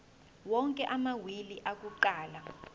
onke amawili akuqala